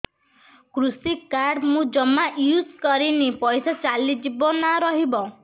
କୃଷି କାର୍ଡ ମୁଁ ଜମା ୟୁଜ଼ କରିନି ପଇସା ଚାଲିଯିବ ନା ରହିବ